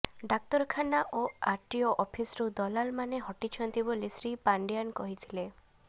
ଡାକ୍ତରଖାନା ଓ ଆର୍ଟିଓ ଅଫିସ୍ରୁ ଦଲାଲମାନେ ହଟିଛନ୍ତି ବୋଲି ଶ୍ରୀ ପାଣ୍ଡିଆନ୍ କହିଥିଲେ